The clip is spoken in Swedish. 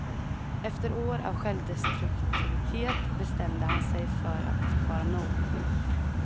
Efter år av självdestruktivitet bestämde han sig för att det fick vara nog.